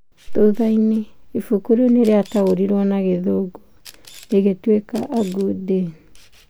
Thutha-inĩ, ibuku rĩu nĩ rĩa taũrirwo na gĩthũngũ rĩgĩtwĩka A Good Day.